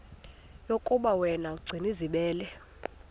yokuba yena gcinizibele